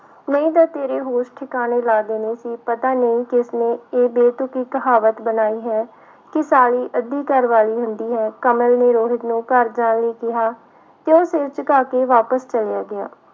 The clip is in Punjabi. ਨਹੀਂ ਤਾਂ ਤੇਰੇ ਹੋਸ਼ ਠਿਕਾਣੇ ਲਾ ਦੇਣੇ ਸੀ ਪਤਾ ਨੀ ਕਿਸਨੇ ਇਹ ਬੇਤੁਕੀ ਕਹਾਵਤ ਬਣਾਈ ਹੈ ਕਿ ਸਾਲੀ ਅੱਧੀ ਘਰਵਾਲੀ ਹੁੰਦੀ ਹੈ, ਕਮਲ ਨੇ ਰੋਹਿਤ ਨੂੰ ਘਰ ਜਾਣ ਲਈ ਕਿਹਾ, ਤੇ ਉਹ ਸਿਰ ਝੁਕਾ ਕੇ ਵਾਪਸ ਚਲਿਆ ਗਿਆ।